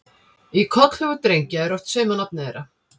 Í kollhúfur drengja er oft saumað nafnið þeirra.